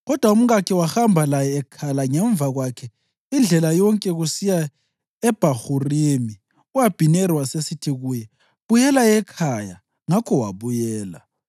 Kodwa umkakhe wahamba laye ekhala ngemva kwakhe indlela yonke kusiya eBhahurimi. U-Abhineri wasesithi kuye, “Buyela ekhaya!” Ngakho wabuyela.